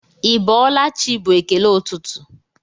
Ị bọọla chi bụ ekele ụtụtụ